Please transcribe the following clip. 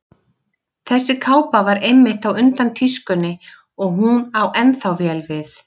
Þessi kápa var einmitt á undan tískunni og hún á ennþá vel við.